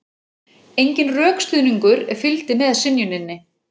Enginn rökstuðningur fylgdi með synjuninni